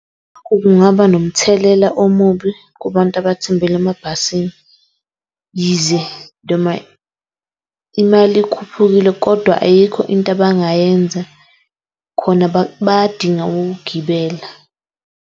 Kungaba nomthelela omubi kubantu abathembele emabhasini. Yize imali ikhuphukile kodwa ayikho into abangayenza, khona bayadinga ukugibela.